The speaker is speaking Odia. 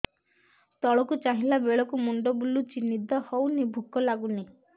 ତଳକୁ ଚାହିଁଲା ବେଳକୁ ମୁଣ୍ଡ ବୁଲୁଚି ନିଦ ହଉନି ଭୁକ ଲାଗୁନି